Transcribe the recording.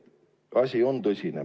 Asi on tõsine.